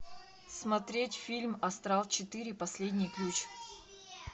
смотреть фильм астрал четыре последний ключ